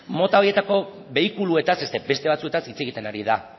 mota horietako behikuluetaz ez beste batzuetaz hitz egiten ari da